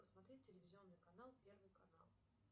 посмотреть телевизионный канал первый канал